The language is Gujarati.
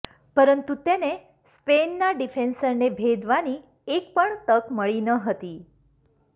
પરંતુ તેને સ્પેનના ડિફેન્સરને ભેદવાની એકપણ તક મળી નહતી